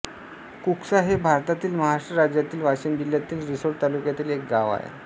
कुकसा हे भारतातील महाराष्ट्र राज्यातील वाशिम जिल्ह्यातील रिसोड तालुक्यातील एक गाव आहे